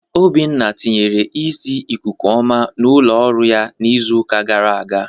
Obinna tinyere ìsiì ikuku oma n'ụlọọrụ ya n'izuụka gara aga.